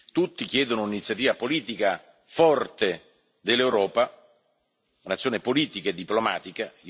tutti chiedono un'iniziativa politica forte dell'Europa, un'azione politica e diplomatica.